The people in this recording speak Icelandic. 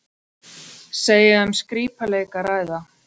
Segja um skrípaleik að ræða